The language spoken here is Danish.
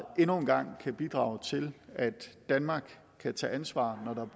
endnu en gang kan bidrage til at danmark kan tage ansvar når der